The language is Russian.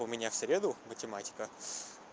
у меня в среду математика